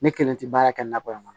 Ne kelen tɛ baara kɛ nakɔ in kɔnɔ